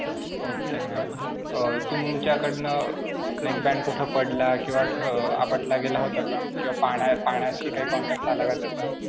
Okay ma'am. अं तुमच्याकडनं अं neckband कुठे पडला किंवा अं आपटला गेला होता का किंवा पाणी~ पाण्याशी काही contact आला का त्याचा?